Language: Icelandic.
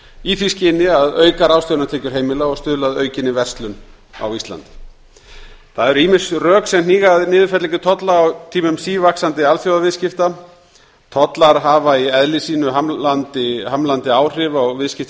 í því skyni að auka ráðstöfunartekjur heimila og stuðla að aukinni verslun á íslandi það eru ýmis rök sem hníga að niðurfellingu tolla á tímum sívaxandi alþjóðaviðskipta tollar hafa í eðli sínu hamlandi áhrif á viðskipti